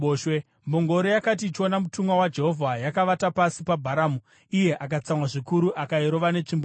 Mbongoro yakati ichiona mutumwa waJehovha, yakavata pasi paBharamu, iye akatsamwa zvikuru akairova netsvimbo yake.